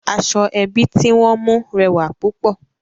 Aṣọ ẹbi tí wọ́n mú rẹwà púpọ̀